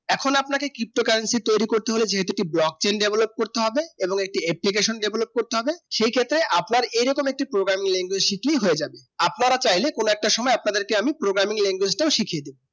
এখন আপনাকে কীত্ত Currency তৈরি করতে হবে Box India wave করতে হবে এবং Application development করতে হবে সেই ক্ষেত্রে আপনার এই রকম একটি Programming language শিখেলে হয়ে যাবে আপনারা চাইরে কোনো এক সুময় আপনাদের কে আমি Programming language শিখিয়ে দেব